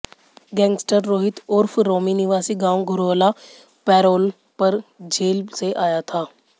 gangster Rohit उर्फ रोमी निवासी गांव घुराला पैरोल पर जेल से आया था